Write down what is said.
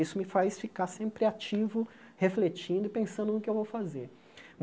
Isso me faz ficar sempre ativo, refletindo e pensando no que eu vou fazer.